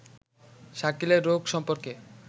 শাকিলের রোগ সম্পর্কে